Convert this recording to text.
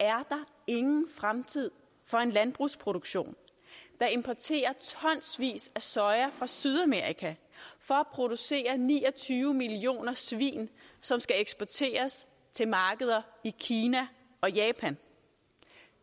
der ingen fremtid for en landbrugsproduktion der importerer tonsvis af soja fra sydamerika for at producere ni og tyve millioner svin som skal eksporteres til markeder i kina og japan